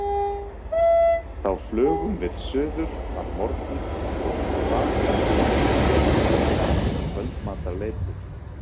Þá flugum við suður að morgni og til baka með síðustu vél um kvöldmatarleytið.